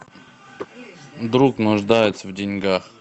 друг нуждается в деньгах